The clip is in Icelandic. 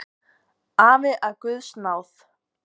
Afi af guðs náð!